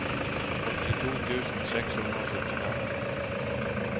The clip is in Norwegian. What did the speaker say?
åttito tusen seks hundre og syttifem